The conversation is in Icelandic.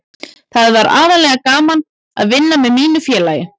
Það var aðallega gaman að vinna með mínu félagi.